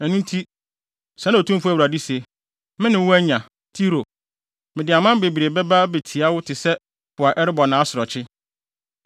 Ɛno nti, sɛɛ na Otumfo Awurade se: Me ne wo anya, Tiro, mede aman bebree bɛba abetia wo te sɛ po a ɛrebɔ nʼasorɔkye.